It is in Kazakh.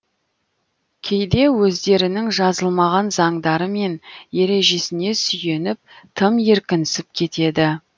кейде өздерінің жазылмаған заңдары мен ережесіне сүйеніп тым еркінсіп кетеді